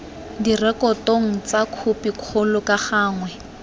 direkotong tsa khopikgolo ka gangwe